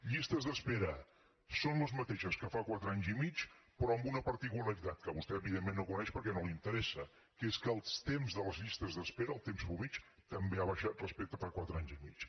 llistes d’espera són les mateixes que fa quatre anys i mig però amb una particularitat que vostè evidentment no coneix perquè no l’interessa que és que el temps de les llistes d’espera el temps mitjà també ha baixat respecte a fa quatre anys i mig